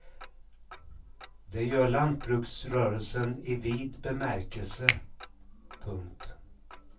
Det gör lantbruksrörelsen i vid bemärkelse. punkt